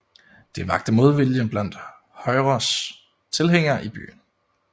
Det vakte modvilje blandt Højres tilhængere i byerne